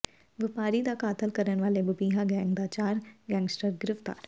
ਵਪਾਰੀ ਦਾ ਕਤਲ ਕਰਨ ਵਾਲੇ ਬਬੀਹਾ ਗੈਂਗ ਦੇ ਚਾਰ ਗੈਂਗਸਟਰ ਗ੍ਰਿਫ਼ਤਾਰ